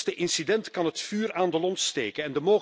Het minste incident kan het vuur aan de lont steken.